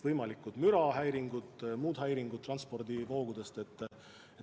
Võivad tekkida mürahäiringud ja muud häiringud transpordivoogude tõttu.